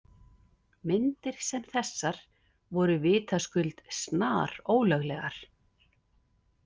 Myndir sem þessar voru vitaskuld snarólöglegar.